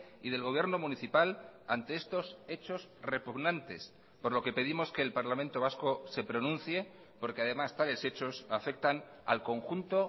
y del gobierno municipal ante estos hechos repugnantes por lo que pedimos que el parlamento vasco se pronuncie porque además tales hechos afectan al conjunto